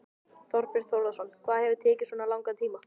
Þorbjörn Þórðarson: Hvað hefur tekið svona langan tíma?